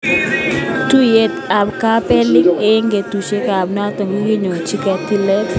Tuyet ab kapelik eng katuiyoitabke noto kokikomyi koyay tilet.